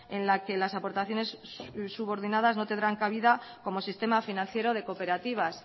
en la que las aportaciones subordinadas no tendrán cabida como sistema financiero de cooperativas